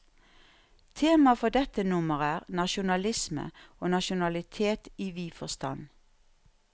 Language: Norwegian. Temaet for dette nummer er, nasjonalisme og nasjonalitet i vid forstand.